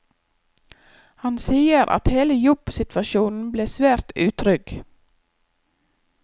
Han sier at hele jobbsituasjonen ble svært utrygg.